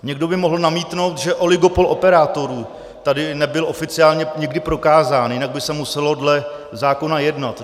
Někdo by mohl namítnout, že oligopol operátorů tady nebyl oficiálně nikdy prokázán, jinak by se muselo dle zákona jednat.